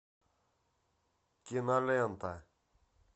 кинолента